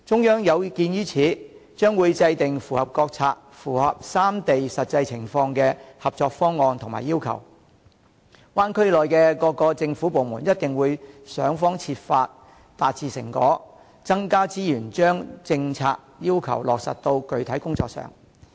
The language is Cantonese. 有見及此，中央將會制訂符合國策、三地實際情況的合作方案及要求，灣區內的各政府部門一定會想方設法達致成果，增加資源把政策要求落實到具體工作上。